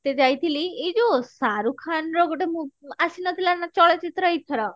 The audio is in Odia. ତେ ଯାଇଥିଲି ଏଇ ଯଉ ଶାହରୁଖ ଖାନ ର ଗୋଟେ ମୁ ଆସିନଥିଲା ନା ଚଳଚିତ୍ର ଏଇଥର